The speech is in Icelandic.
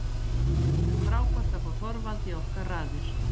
Það er frábært að fá Þorvald í okkar raðir.